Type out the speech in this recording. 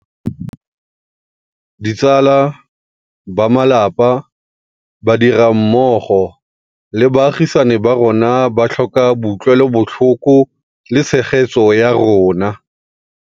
Ditsala, bamalapa, badirammogo le baagisani ba rona ba tlhoka boutlwelobotlhoko le tshegetso ya rona.